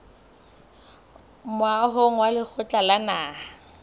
moahong wa lekgotla la naha